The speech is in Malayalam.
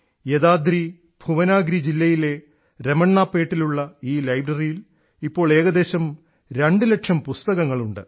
യദാദ്രി ഭൂവനാഗിരി ജില്ലയിലെ രമണ്ണാപേട്ടിലുള്ള ഈ ലൈബ്രറിയിൽ ഇപ്പോൾ ഏകദേശം രണ്ടു ലക്ഷം പുസ്തകങ്ങൾ ഉണ്ട്